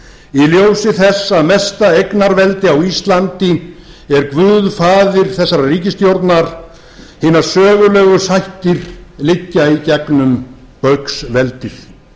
í ljósi þess að mesta eignarveldi á íslandi er guðfaðir þessarar ríkisstjórnar hinar sögulegu sættir liggja í gegnum baugsveldið